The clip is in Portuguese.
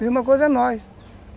mesma coisa é nós.